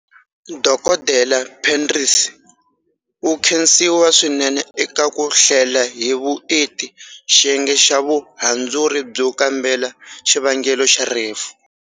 Dokodela Penrith u khensiwa swinene eka ku hlela hi vuenti xiyenge xa Vuhandzuri byo kambela xivangelo xa rifu.